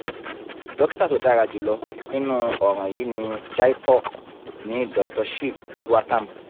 dokita tó dára jù lọ nínú ọ̀ràn yìí ní jaipur ni doctor shiv gautam